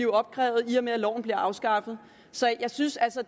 opkrævet i og med at loven bliver afskaffet så jeg synes altså